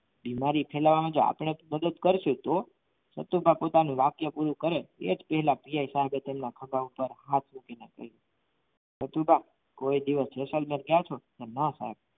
બીમારી ફેલાવવાનું આપણે જ મદદ કરશું તો સતુભા પોતાનું વાક્ય પૂરું કરે એ જ પહેલા પીએસઆઇ સાહેબે તેમના ખભા ઉપર હાથ મૂકીને કહ્યું સતુભા કોઈ દિવસ જૈસલમેર ગયા છો કે ના પાડી